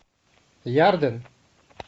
ярден